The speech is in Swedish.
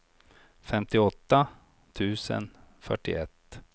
femtioåtta tusen fyrtioett